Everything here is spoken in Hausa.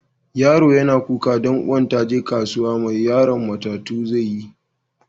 Yaro yana kuka dan uwan ta je kasuwa, mai yaron matatu zai yi?